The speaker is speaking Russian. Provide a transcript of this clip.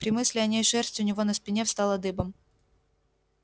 при мысли о ней шерсть у него на спине встала дыбом